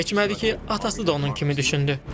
Çox keçmədi ki, atası da onun kimi düşündü.